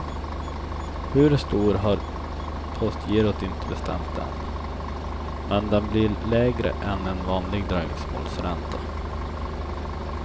Hur stor har postgirot inte bestämt än, men den blir lägre än en vanlig dröjsmålsränta.